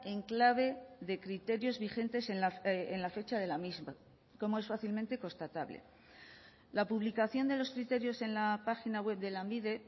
en clave de criterios vigentes en la fecha de la misma como es fácilmente constatable la publicación de los criterios en la página web de lanbide